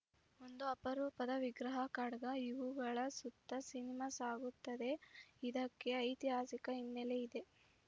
ಒಂದು ಅಪರೂಪದ ವಿಗ್ರಹ ಖಡ್ಗ ಇವುಗಳ ಸುತ್ತ ಸಿನಿಮಾ ಸಾಗುತ್ತದೆ ಇದಕ್ಕೆ ಐತಿಹಾಸಿಕ ಹಿನ್ನೆಲೆ ಇದೆ